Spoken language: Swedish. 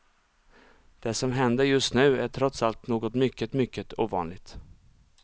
Det som händer just nu är trots allt något mycket, mycket ovanligt.